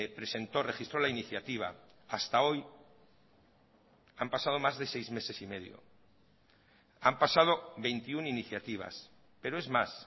presentó registró la iniciativa hasta hoy han pasado más de seis meses y medio han pasado veintiuno iniciativas pero es más